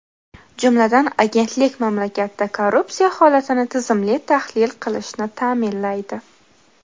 Jumladan, agentlik mamlakatda korrupsiya holatini tizimli tahlil qilishni ta’minlaydi.